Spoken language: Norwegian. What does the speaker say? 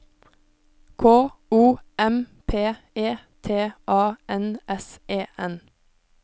K O M P E T A N S E N